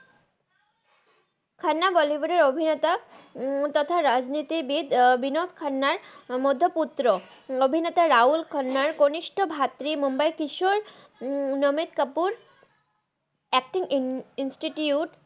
খান্না বলিউড এর অভিনেতা মুরতাতা রাজ নিতি বিদ বিনঅদ খান্নার মধহে পুত্র অভিনেতা রাহুল খান্নার গনিস্থ ভাত্রি মুম্বাই কিশর নাবিন ভারত আচতিং ইন্সিটিউট